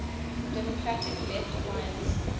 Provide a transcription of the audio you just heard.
democratic left alliance